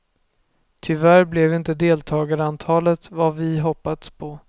Tyvärr blev inte deltagarantalet vad vi hoppats på.